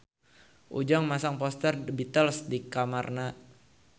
Ujang masang poster The Beatles di kamarna